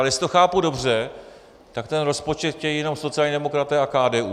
Ale jestli to chápu dobře, tak ten rozpočet chtějí jenom sociální demokraté a KDU.